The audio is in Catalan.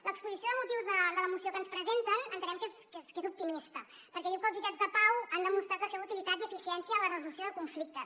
l’exposició de motius de la moció que ens presenten entenem que és optimista perquè diu que els jutjats de pau han demostrat la seva utilitat i eficiència en la resolució de conflictes